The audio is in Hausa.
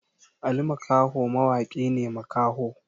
Ali makho mawaki ne makaho